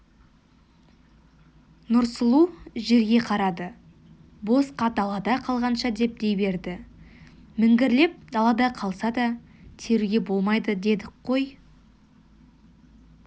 нұрсұлу жерге қарады босқа далада қалғанша деп дей берді міңгірлеп далада қалса да теруге болмайды дедік қой